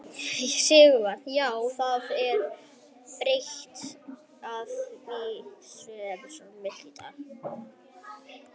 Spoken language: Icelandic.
Sighvatur: Já, það er betra að það sé svona milt í dag?